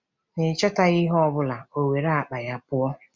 N'ịchọtaghị ihe ọ bụla, o were akpa ya pụọ!